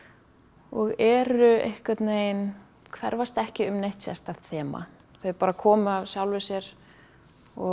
og eru einhvern veginn hverfast ekki um neitt sérstakt þema þau bara komu að sjálfu sér og